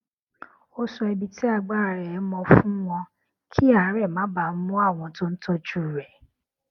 ó sọ ibi tí agbára rè mọ fún wọn kí àárè má bàa mú àwọn tó ń tójú rẹ